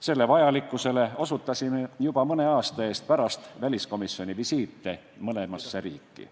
Selle vajalikkusele osutasime juba mõne aasta eest pärast väliskomisjoni visiite mõlemasse riiki.